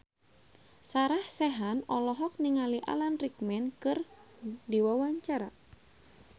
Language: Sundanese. Sarah Sechan olohok ningali Alan Rickman keur diwawancara